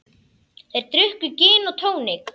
Þeir drukku gin og tónik.